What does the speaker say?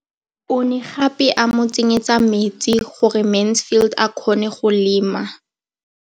O ne gape a mo tsenyetsa metsi gore Mansfield a kgone go lema.